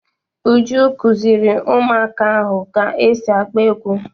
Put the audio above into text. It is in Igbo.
Uju kuziri ụmụaka ahụ ka esi agba egwu.